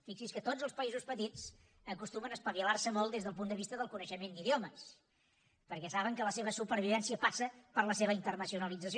fixi’s que tots els països petits acostumen a espavilar se molt des del punt de vista del coneixement d’idiomes perquè saben que la seva supervivència passa per la seva internacionalització